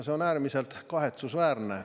See on äärmiselt kahetsusväärne!